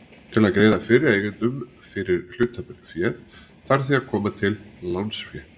Til að greiða fyrri eigendum fyrir hlutaféð þarf því að koma til lánsfé.